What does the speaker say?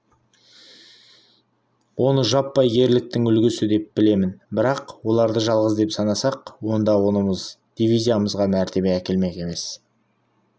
оны жаппай ерліктің үлгісі деп білемін бірақ оларды жалғыз деп санасақ онда онымыз дивизиямызға мәртебе әкелмек емес